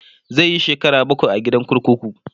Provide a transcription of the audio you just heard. zai Yi shekara bakwai a gidan kurkuku